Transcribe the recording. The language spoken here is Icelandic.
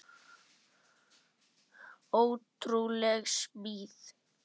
Ótrúleg smíð.